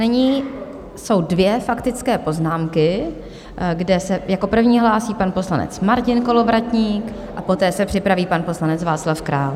Nyní jsou dvě faktické poznámky, kde se jako první hlásí pan poslanec Martin Kolovratník a poté se připraví pan poslanec Václav Král.